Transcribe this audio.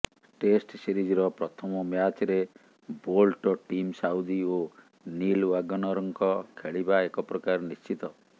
test ସିରିଜର ପ୍ରଥମ ମ୍ୟାଚରେ ବୋଲ୍ଟ ଟିମ୍ ସାଉଦୀ ଓ ନିଲ୍ ୱାଗନରଙ୍କ ଖେଳିବା ଏକପ୍ରକାର ନିଶ୍ଚିତ